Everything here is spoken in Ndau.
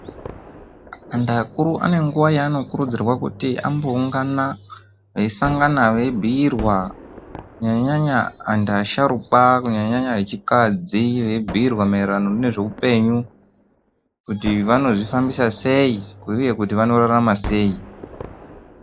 Antu akuru Ane nguwa yaanokurudzirwa kuti amboungana veisangana veibhiirwa kunyanya nyanya antu asharukwa kunyanya nyanya echikadzi veibhiirwa maererano nezveupenyu kuti vanozvifambisa sei uye kuti vanorarama sei.